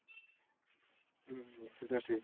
হম ঠিক আছে।